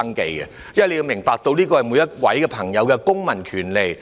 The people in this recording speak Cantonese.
局長應明白，這是每位市民的公民權利。